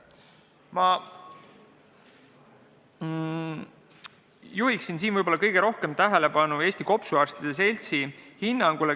Ma juhin siin kõige rohkem tähelepanu Eesti Kopsuarstide Seltsi hinnangule.